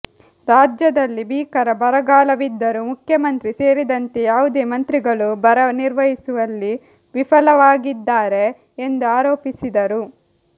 ರಾಜ್ಯದಲ್ಲಿ ಭೀಕರ ಬರಗಾಲವಿದ್ದರೂ ಮುಖ್ಯಮಂತ್ರಿ ಸೇರಿದಂತೆ ಯಾವುದೇ ಮಂತ್ರಿಗಳು ಬರ ನಿರ್ವಹಿಸುವಲ್ಲಿ ವಿಫಲವಾಗಿದ್ದಾರೆ ಎಂದು ಆರೋಪಿಸಿದರು